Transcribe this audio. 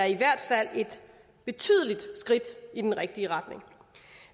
i hvert fald et betydeligt skridt i den rigtige retning